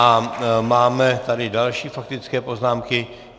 A máme tady další faktické poznámky.